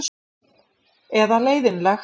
Eða leiðinlegt?